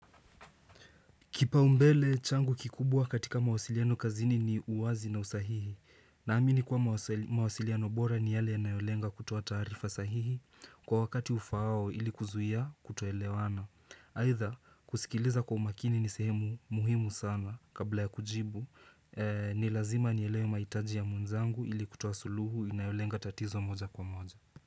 Kipaumbele changu kikubwa katika mawasiliano kazini ni uwazi na usahihi. Naamini kwa mawasiliano bora ni yale inayolenga kutoa taarifa sahihi kwa wakati ufaao ili kuzuia kutoelewana. Haitha kusikiliza kwa umakini ni sehemu muhimu sana kabla ya kujibu ni lazima nielewe mahitaji ya mwenzangu ili kutoa suluhu inayolenga tatizo moja kwa moja.